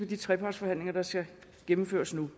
de trepartsforhandlinger der skal gennemføres nu